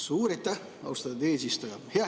Suur aitäh, austatud eesistuja!